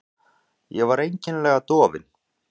Ég var öll einkennilega dofin.